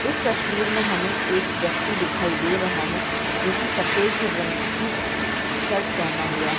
इस तस्वीर में हमे एक व्यक्ति दिखाई दे रहा है जो की सफेद रंग की टी-शर्ट पहना हुआ है।